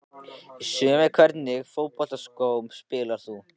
Í sumar Í hvernig fótboltaskóm spilar þú?